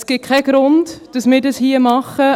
Es gibt keinen Grund, dass wir dies hier machen.